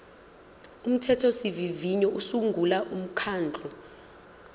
umthethosivivinyo usungula umkhandlu